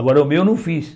Agora o meu eu não fiz.